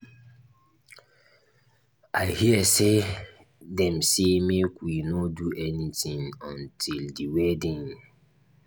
i hear say dem say make we no do anything until the wedding